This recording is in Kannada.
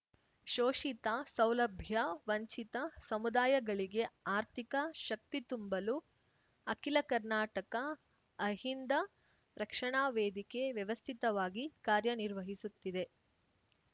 ಶೋಷಿತ ಸೌಲಭ್ಯ ವಂಚಿತ ಸಮುದಾಯಗಳಿಗೆ ಆರ್ಥಿಕ ಶಕ್ತಿ ತುಂಬಲು ಅಖಿಲ ಕರ್ನಾಟಕ ಅಹಿಂದ ರಕ್ಷಣಾ ವೇದಿಕೆ ವ್ಯವಸ್ಥಿತವಾಗಿ ಕಾರ್ಯನಿರ್ವಹಿಸುತ್ತಿದೆ